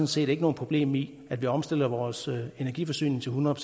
set ikke noget problem i at vi omstiller vores energiforsyning til hundrede